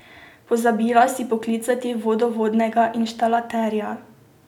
Pozabila si poklicati vodovodnega inštalaterja.